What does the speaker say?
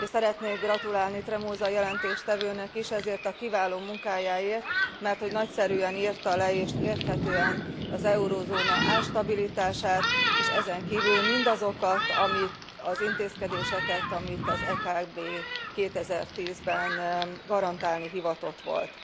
És szeretnék gratulálni Tremosa jelentéstevőnek is ezért a kiváló munkájáért, merthogy nagyszerűen írta le és érthetően az eurózóna árstabilitását és ezenkívül mindazokat az intézkedéseket, amit az EKB 2010 ben garantálni hivatott volt.